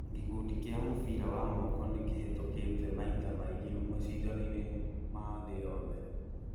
Gikundi kia mũbira wa moko nĩ kĩhĩtũkite maita maingĩ macindao-inĩ ma thĩ yothe